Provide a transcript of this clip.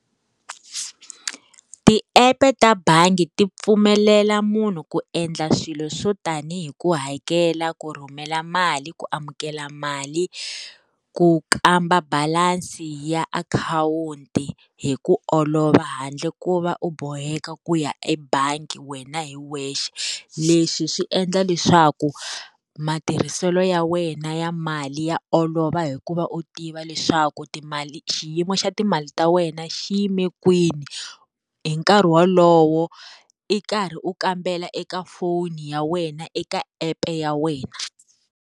Ti-app ta bangi ti pfumelela munhu ku endla swilo swo tanihi ku hakela ku rhumela mali ku amukela mali, ku kamba balansi ya akhawunti hi ku olova handle ku va u boheka ku ya ebangi wena hi wexe. Leswi swi endla leswaku matirhiselo ya wena ya mali ya olova hi ku va u tiva leswaku timali xiyimo xa timali ta wena xi yime kwini, hi nkarhi wolowo i karhi u kambela eka foni ya wena eka app ya wena.